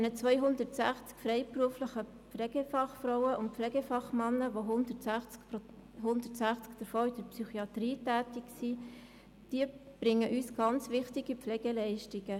Die 260 freiberuflichen Pflegefachfrauen und Pflegefachmänner, von denen 160 in der Psychiatrie tätig sind, erbringen sehr wichtige Pflegeleistungen.